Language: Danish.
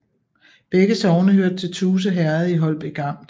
Begge sogne hørte til Tuse Herred i Holbæk Amt